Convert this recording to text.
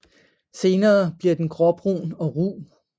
Senere bliver den gråbrun og ru